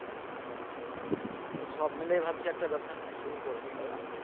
তাই সব মিলেই ভাবছি একটা ব্যবসা শুরু করবো তাই না